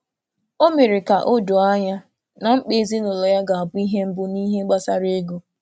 Ọ mere ka o doo ànyá na mkpa ezinụlọ ya ga-abụ ihe mbụ n’ihe gbasara ego.